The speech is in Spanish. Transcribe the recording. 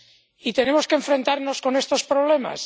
Y tenemos que enfrentarnos a estos problemas.